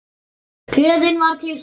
Gleðin var til staðar.